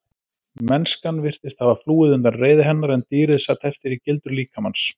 Mennskan virtist hafa flúið undan reiði hennar en dýrið sat eftir í gildru líkamans.